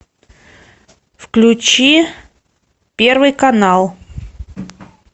включи первый канал